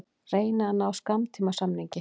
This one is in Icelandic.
Reyna að ná skammtímasamningi